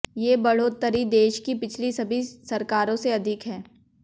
ये बढोतरी देश की पिछली सभी सरकारों से अधिक है